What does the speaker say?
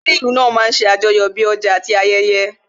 Ààrin ìlú náà máa ń ṣe àjọyọ̀ bí ti ọjà àti ayẹyẹ